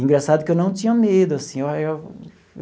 Engraçado que eu não tinha medo assim eu eu.